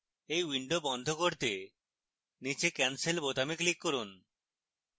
এই window বন্ধ করতে নীচে cancel বোতামে click করুন